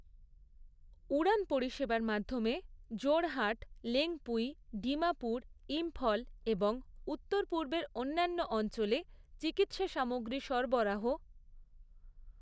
উড়ান পরিষেবার মাধ্যমে জোড়হাট, লেঙপুই, ডিমাপুর, ইম্ফল এবং উত্তর পূর্বের অন্যান্য অঞ্চলে চিকিৎসা সামগ্রী সরবরাহ